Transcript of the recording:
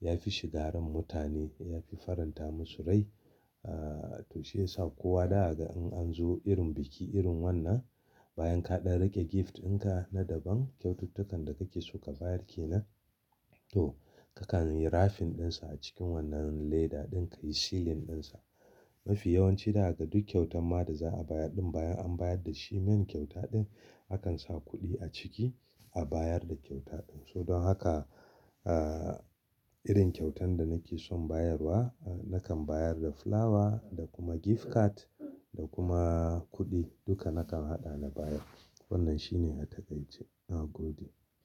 ya fi shiga ran mutane, ya fi faranta musu rai. Ah to shi yasa kowa zaka ga in an zo irin biki irin wannan bayan ka ɗan rage gift in ka na daban kyaututtukan da kake so ka bayar ke nan to kakan yi wrapping din sa a cikin wannan leda din ka yi sealing din sa. Mafi yawanci zaka ga duk kyautan ma da za'a bayar din bayan an bayar da shi main kyauta din akan sa kuɗi a ciki a bayar da kyauta din. So don haka ah irin kyautan da nake son bayarwa nakan bayar da fulawa da kuma gift card da kuma kuɗi duka nakan haɗa na bayar. Wannan shi ne a takaice. Na gode.